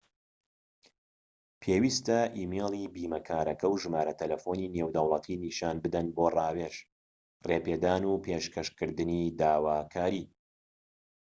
پێویستە ئیمەیلی بیمەکارەکە و ژمارە تەلەفۆنی نێودەوڵەتی نیشان بدەن بۆ ڕاوێژ/ڕێپێدان و پێشکەشکردنی داواکاری